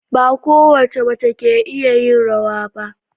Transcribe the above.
Ba kowace mace ce ke iya rawa ba.